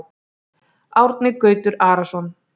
Árni Gautur Arason